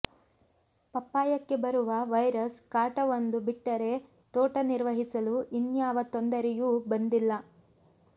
ಪಪ್ಪಾಯಕ್ಕೆ ಬರುವ ವೈರಸ್ ಕಾಟ ಒಂದು ಬಿಟ್ಟರೆ ತೋಟ ನಿರ್ವಹಿಸಲು ಇನ್ಯಾವ ತೊಂದರೆಯೂ ಬಂದಿಲ್ಲ